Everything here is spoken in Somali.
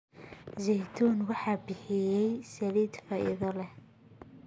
Zaytuun waxay bixisaa saliid faa'iido leh.